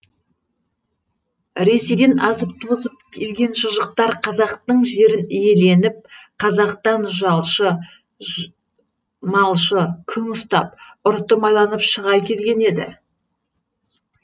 ресейден азып тозып келген мұжықтар қазақтың жерін иеленіп қазақтан малшы жалшы күң ұстап ұрты майланып шыға келген еді